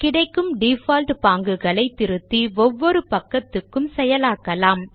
கிடைக்கும் டிஃபால்ட் பாங்குகளை திருத்தி ஒவ்வொரு பக்கத்துக்கும் செயலாக்கலாம்